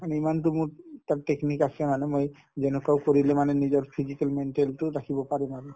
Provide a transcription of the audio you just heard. কাৰণ ইমানতো মোৰ তাত technique আছে মানে মই যেনেকুৱা কৰিলেও মানে নিজৰ physical maintain তো ৰাখিব পাৰিম আৰু